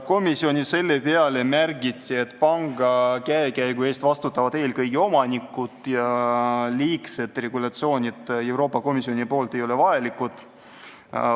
Komisjonis märgiti selle peale, et panga käekäigu eest vastutavad eelkõige omanikud ja liigseid Euroopa Komisjoni regulatsioone ei ole vaja.